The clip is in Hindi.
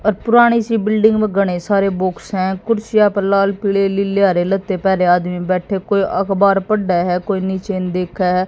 और पुरानी सी बिल्डिंग में घनें सारे बॉक्स हैं कुर्सियां पर लाल पीली नीले हरे लते पेहने आदमी बैठे कोई अखबार पढ़े हैं कोई नीचे देखे है।